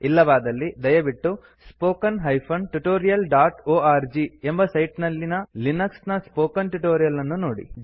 ಇಲ್ಲವಾದಲ್ಲಿ ದಯವಿಟ್ಟು spoken tutorialಒರ್ಗ್ ಎಂಬ ಸೈಟ್ ನಲ್ಲಿ ಲಿನಕ್ಸ್ ನ ಸ್ಪೋಕನ್ ಟ್ಯುಟೋರಿಯಲ್ ಅನ್ನು ನೋಡಿ